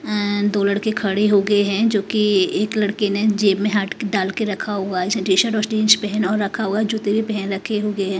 दो लड़के खड़े हो गए हैं जो कि एक लड़के ने जेब में हाथ डाल के रखा हुआ है टीशर्ट और जींस पहन और रखा हुआ है जूते भी पहन रखे हुए है।